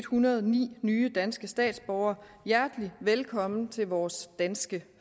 hundrede og ni nye danske statsborgere hjertelig velkommen til vores danske